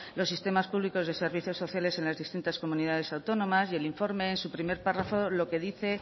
los sistemas públicos de servicios sociales en las distintas comunidades autónomas y el informe en su primer párrafo lo que dice